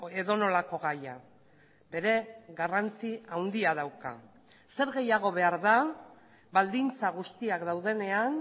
edonolako gaia bere garrantzi handia dauka zer gehiago behar da baldintza guztiak daudenean